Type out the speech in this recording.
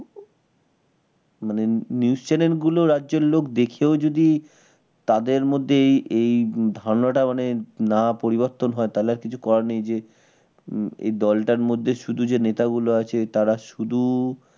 মানে news channel গুলো রাজ্যের লোক দেখেও যদি তাদের মধ্যে এই এই ধারণাটা মানে না পরিবর্তন হয় তাহলে আর কিছু করার নেই। জে এই দলটার মধ্যে শুধু যে নেতা গুলো আছে তারা শুধু